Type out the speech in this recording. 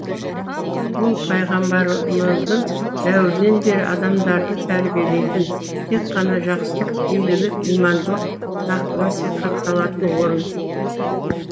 ол пайғамбарымыздың дәуірінен бері адамдарды тәрбиелейтін тек қана жақсылық игілік имандылық насихатталатын орын